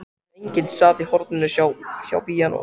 En enginn sat í horninu hjá píanóinu.